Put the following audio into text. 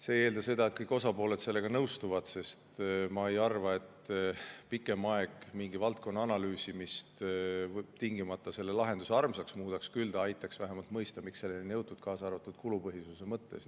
See ei eelda seda, et kõik osapooled sellega nõustuvad, sest ma ei arva, et pikem aeg mingi valdkonna analüüsimist tingimata selle lahenduse armsaks muudaks, küll aga aitaks see vähemalt mõista, miks selleni on jõutud, kaasa arvatud kulupõhisuse mõttes.